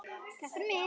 Takk fyrir mig.